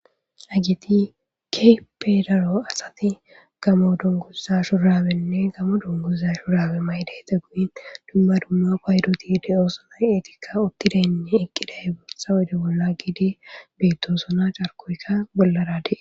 Hagiti keepe daro asati gamo dunguza shurabenne gamo dunguza shurabe maydey teguyi dumma dumma paydotihde7oosona eetikka uttidaynne eqqiday bootsa wude bolla giidi beyttosona carkoykka bollarade.